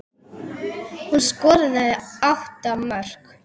Hún skoraði átta mörk.